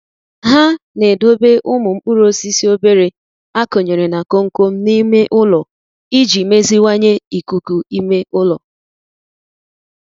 Ha na-edobe umu mkpuru osisi obere akunyere na komkom n'ime ụlọ iji meziwanye ikuku ime ụlọ.